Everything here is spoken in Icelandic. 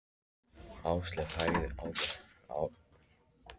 Ásleif, hækkaðu í hátalaranum.